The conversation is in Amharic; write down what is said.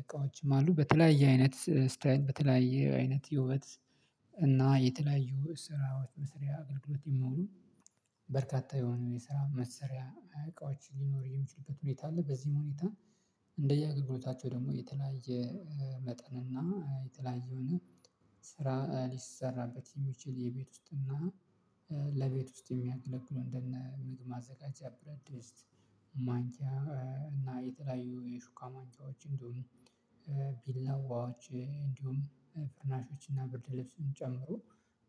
እቃዎችም አሉ። በተለያየ አይነት ስታይል በተለያየ አይነት የውበት እና የተለያዩ ስራዎች መስሪያ አገልግሎት የሚውሉ በርካታ የሆነ የስራ መሰሪያ እቃዎች ሊኖር የሚችሉበት ሁኔታ አለ። በዚህም ሁኔታ እንደ የአገልግሎታቸው ደግሞ የተለያየ መጠን እና የተለያየ የሆነ ስራ ሊሰራበት የሚችል የቤት ውስጥና ለቤት ውስጥ የሚያገለግሉ እንደነ ምግብ ማዘጋጃ ብረድስት ማንክያ እና የተለያዩ የሹካ ማንኪዎች እንዲሁም ቢላዎች እንዲሁም ፈርናሾች እና ብርድ ልብስን ጨምሮ